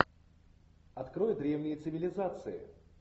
открой древние цивилизации